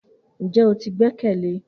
Njẹ o ti gbẹkẹle?